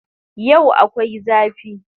Yau akwai zafi